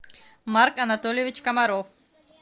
марк анатольевич комаров